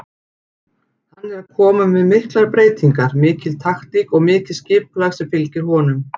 Hann er að koma með miklar breytingar, mikil taktík og mikið skipulag sem fylgir honum.